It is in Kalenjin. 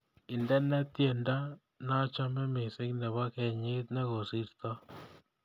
Indene tyendo nachame mising nebo kenyit negosirtoi